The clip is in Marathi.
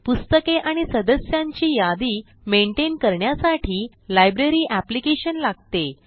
पुस्तके आणि सदस्यांची यादी maintainकरण्यासाठी लायब्ररी एप्लिकेशन लागते